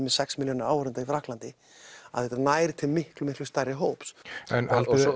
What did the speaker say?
með sex milljónir í Frakklandi að þetta nær til miklu miklu stærri hóps